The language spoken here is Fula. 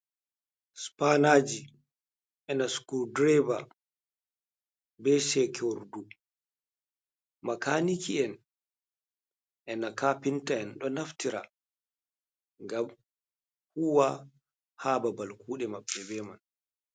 Supaynaaji, e na sukurdireeba bee seekerdu, makaaniki’en e na kapinta'en ɗo naftira ngam huuwa haa babal kuuɗe maɓɓe bee man.